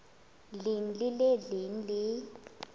leng le le leng le